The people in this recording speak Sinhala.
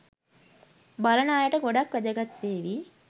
බලන අයට ගොඩක් වැදගත් වේවී.